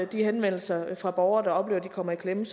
de henvendelser fra borgere der oplever de kommer i klemme